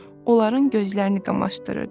onların gözlərini qamaşdırırdı.